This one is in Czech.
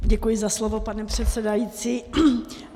Děkuji za slovo, pane předsedající.